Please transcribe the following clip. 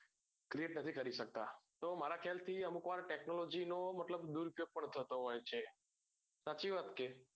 create નથી કરી સકતા તો મારા ખ્યાલ થી અમુક વાર technology નો મતલબ દુર ઉપયોગ પણ થતો હોય છે પછી વખતે